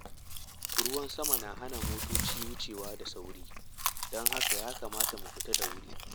Ruwan sama na hana motoci wucewa da sauri, don haka ya kamata mu fita da wuri.